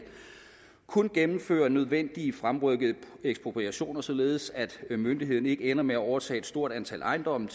kun gennemfører nødvendige fremrykkede ekspropriationer således at myndighederne ikke ender med at overtage et stort antal ejendomme